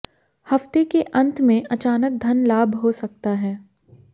हफ्ते के अंत में अचानक धन लाभ हो सकता है